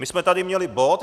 My jsme tady měli bod.